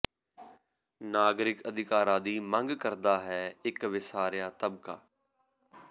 ਨਾਗਰਿਕ ਅਧਿਕਾਰਾਂ ਦੀ ਮੰਗ ਕਰਦਾ ਹੈ ਇਕ ਵਿਸਾਰਿਆ ਤਬਕਾ